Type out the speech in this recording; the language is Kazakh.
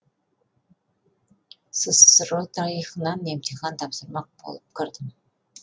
ссро тарихынан емтихан тапсырмақ болып кірдім